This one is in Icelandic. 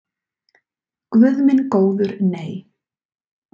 Guð minn góður nei.